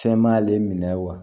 Fɛn ma ale minɛ wa